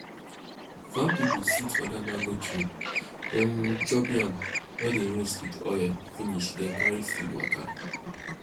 farm pipo sit under mango tree um chop yam wey dey roast with oil finish then carry food waka